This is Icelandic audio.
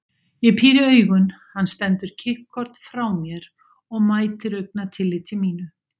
Ég píri augun, hann stendur kippkorn frá mér og mætir augnatilliti mínu.